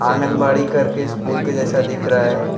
आंगनबाड़ी कर के स्कूल के जैसा दिख रहा है।